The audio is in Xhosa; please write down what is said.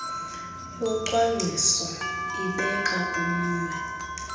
yocwangciso ibeka umnwe